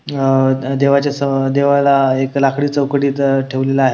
अअ देवाच्या सम देवाला एक लाकडी चौकटीत ठेवलेल आहे.